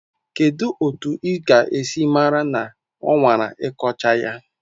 Kedu otu ị ga-esi mara na ọ nwara ịkọcha ya?